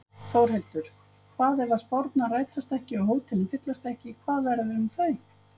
Þórhildur: Hvað ef að spárnar rætast ekki og hótelin fyllast ekki, hvað verður um þau?